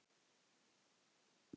Halda sitt eigið partí.